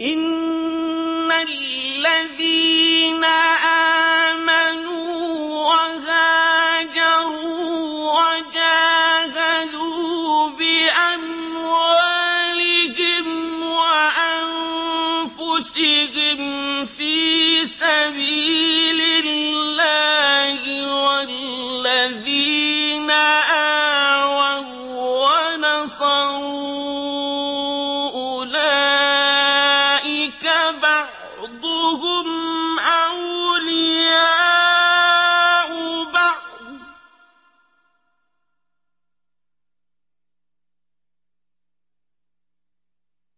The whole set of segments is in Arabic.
إِنَّ الَّذِينَ آمَنُوا وَهَاجَرُوا وَجَاهَدُوا بِأَمْوَالِهِمْ وَأَنفُسِهِمْ فِي سَبِيلِ اللَّهِ وَالَّذِينَ آوَوا وَّنَصَرُوا أُولَٰئِكَ بَعْضُهُمْ أَوْلِيَاءُ بَعْضٍ ۚ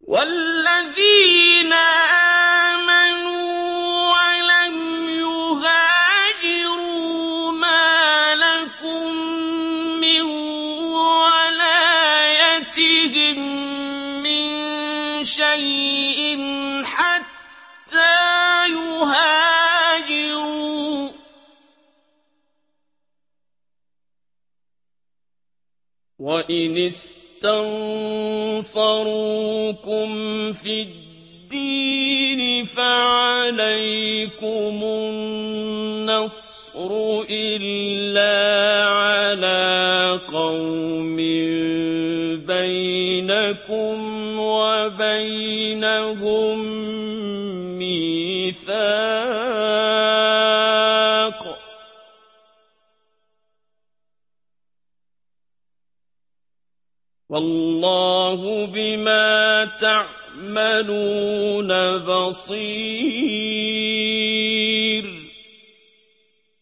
وَالَّذِينَ آمَنُوا وَلَمْ يُهَاجِرُوا مَا لَكُم مِّن وَلَايَتِهِم مِّن شَيْءٍ حَتَّىٰ يُهَاجِرُوا ۚ وَإِنِ اسْتَنصَرُوكُمْ فِي الدِّينِ فَعَلَيْكُمُ النَّصْرُ إِلَّا عَلَىٰ قَوْمٍ بَيْنَكُمْ وَبَيْنَهُم مِّيثَاقٌ ۗ وَاللَّهُ بِمَا تَعْمَلُونَ بَصِيرٌ